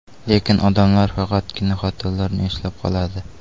Lekin odamlar faqatgina xatolarni eslab qoladi.